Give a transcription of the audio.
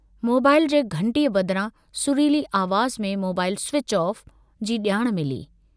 Mobile जे घंटीअ बदिरां सुरीली आवाज़ में mobile switch off (Switch off) जी जाण मिली।